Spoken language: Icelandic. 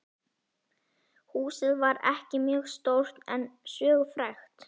Húsið var ekki mjög stórt en sögufrægt.